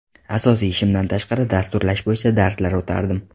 Asosiy ishimdan tashqari dasturlash bo‘yicha darslar o‘tardim.